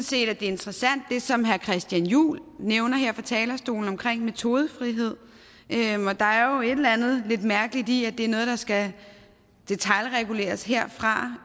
set at det er interessant det som herre christian juhl nævner her fra talerstolen om metodefrihed der er jo et eller andet lidt mærkeligt i at der noget der skal detailreguleres herfra